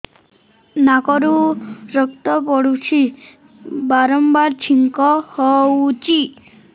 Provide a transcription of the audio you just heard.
ନାକରୁ ରକ୍ତ ପଡୁଛି ବାରମ୍ବାର ଛିଙ୍କ ହଉଚି